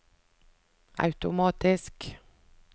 automatisk